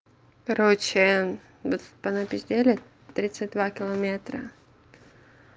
короче мы тут понапиздели тридцать два километра